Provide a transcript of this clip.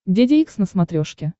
деде икс на смотрешке